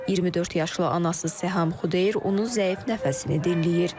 24 yaşlı anası Səhəm Xudeyr onun zəif nəfəsini dinləyir.